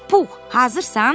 Pux, hazırsan?